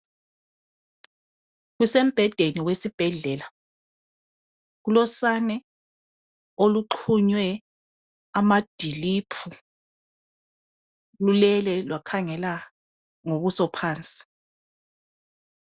Kusembhedeni wesibhedlela kulosane oluxhunywe amadilipu lulele lwakhangela ngobuso phansi.